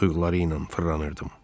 Duyğuları ilə fırlanırdım.